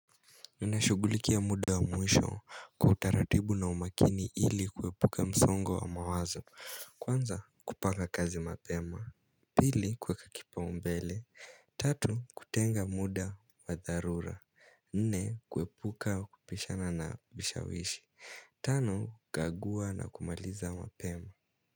Ninashughulikia muda wa mwisho kwa utaratibu na umakini ili kuepuka msongo wa mawazo. Kwanza kupanga kazi mapema. Pili kuweka kipaumbele. Tatu kutenga muda wa dharura. Nne kuepuka kupishana na vishawishi Tano, kagua na kumaliza mapema.